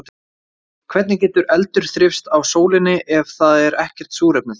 Hvernig getur eldur þrifist á sólinni ef það er ekkert súrefni þar?